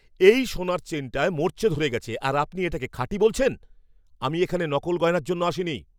এই সোনার চেইনটায় মরচে ধরে গেছে আর আপনি এটাকে খাঁটি বলছেন? আমি এখানে নকল গয়নার জন্য আসিনি!